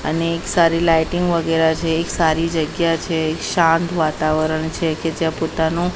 અને એક સારી લાઇટિંગ વગેરા છે એક સારી જગ્યા છે એક શાંત વાતાવરણ છે કે જ્યાં પોતાનું--